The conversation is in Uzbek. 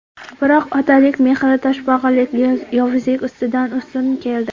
Biroq otalik mehri toshbag‘irlik, yovuzlik ustidan ustun keldi.